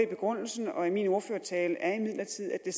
begrundelsen og min ordførertale er imidlertid at det